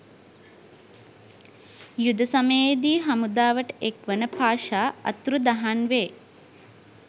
යුද සමයේදී හමුදාවට එක්වන පාෂා අතුරුදහන් වේ.